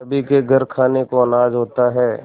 सभी के घर खाने को अनाज होता है